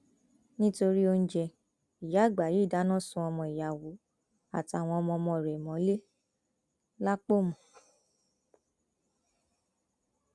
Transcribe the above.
nítorí oúnjẹ ìyá àgbà yìí dáná sun ọmọ ìyàwó àtàwọn ọmọọmọ rẹ mọlẹ lápọnmú